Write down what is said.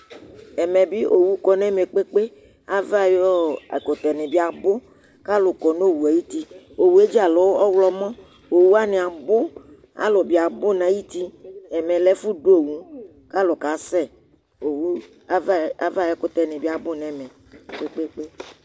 Ɛmɛ bi owu kɔ n'ɛmɛ kpekpékpe, ava ayi ɛkutɛni bi abu, k'alu kɔ nu owue ayi uti, owue dza lɛ ɔwlɔmɔ, owu wani abu, alu bi abu n'ayi uti, ɛmɛ lɛ ɛfu dù owu k'alu ka sɛ, owu, avaɛ, ava ayi ɛkutɛni bi abu n'ɛmɛ kpekpe